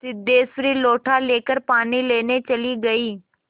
सिद्धेश्वरी लोटा लेकर पानी लेने चली गई